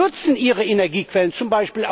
Die nutzen ihre Energiequellen, z.